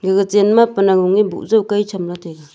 aga chen ma panang oni bujay kai chamla taiga.